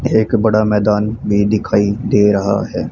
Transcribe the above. एक बड़ा मैदान भी दिखाई दे रहा हैं।